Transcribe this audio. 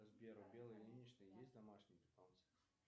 сбер у беллы ильиничны есть домашние питомцы